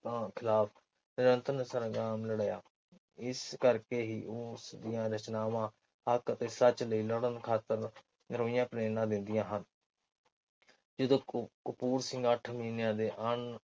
ਤਾ ਖਿਲਾਫ ਨਿਯੰਤ੍ਰਣ ਲੜਿਆ ਇਸ ਕਰਕੇ ਹੀ ਉਹ ਉਸਦੀਆਂ ਰਚਨਾਵਾਂ ਹੱਕ ਅਤੇ ਸੱਚ ਲਈ ਲੜ੍ਹਨ ਖਾਤਿਰ ਨਵੀਆਂ ਟ੍ਰੇਨਾਂ ਦਿੰਦੀਆਂ ਹਨ। ਜਦੋਂ ਕਪੂਰ ਸਿੰਘ ਅੱਠ ਮਹੀਨਿਆਂ ਦੇ ਹਨ